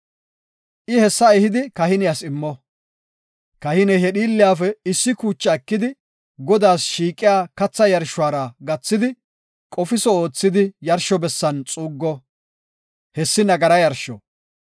I hessa ehidi kahiniyas immo; kahiney he dhiilliyafe issi kuuca ekidi, Godaas shiiqiya katha yarshuwara gathidi, qofiso oothidi yarsho bessan xuuggo; hessi nagara yarsho.